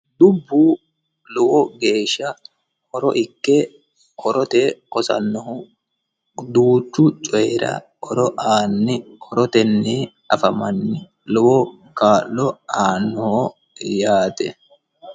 dubbu lowo geeshsha horo ikke horote hosannohu duuchu coyira horo aanni horotenni afamanni lowo kaa'lo aannoho yaate